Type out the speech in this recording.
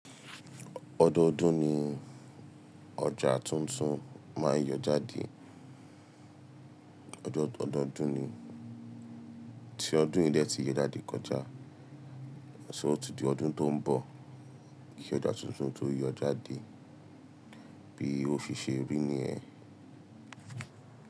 Ọdọọdún ni ọjà tuntun máa n yọ jáde. Ọdọọdún ni tí ọdún yìí dẹ tí yé jáde kọjá, ṣóò tì di ọdún tó ń bọ̀ kí ọjà tuntun tó yọ jáde bí o fi ṣe rí ní ẹ́.